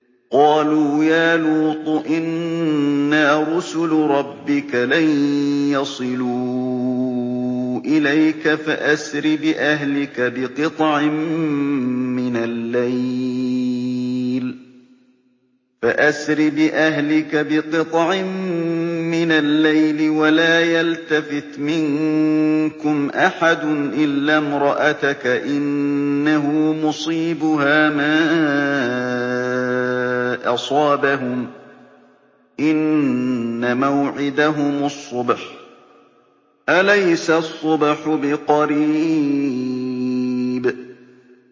قَالُوا يَا لُوطُ إِنَّا رُسُلُ رَبِّكَ لَن يَصِلُوا إِلَيْكَ ۖ فَأَسْرِ بِأَهْلِكَ بِقِطْعٍ مِّنَ اللَّيْلِ وَلَا يَلْتَفِتْ مِنكُمْ أَحَدٌ إِلَّا امْرَأَتَكَ ۖ إِنَّهُ مُصِيبُهَا مَا أَصَابَهُمْ ۚ إِنَّ مَوْعِدَهُمُ الصُّبْحُ ۚ أَلَيْسَ الصُّبْحُ بِقَرِيبٍ